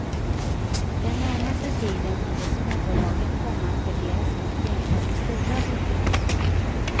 Den närmaste tiden borde småbolagen komma att värderas upp jämfört med stora bolag.